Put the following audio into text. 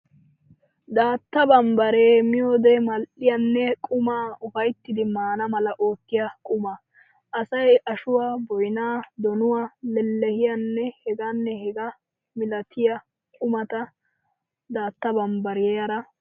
Daatta bammbbaree miyoode mal'iyaanne qumaa ufayttidi maana mala oottiya quma. Asay ashuwaa, boynaa, donuwaa, leehiyaanne hegaanne hegaa milatiya qumata daatta bambbariyaara meettes.